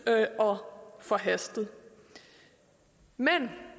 og forhastet men